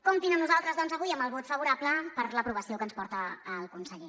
comptin amb nosaltres doncs avui amb el vot favorable per a l’aprovació que ens porta el conseller